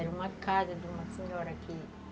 Era uma casa de uma senhora que...